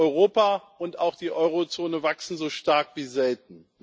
Europa und auch die Euro Zone wachsen so stark wie selten.